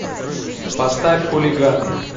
поставь хулиганы